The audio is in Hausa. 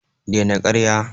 Dai na ƙarya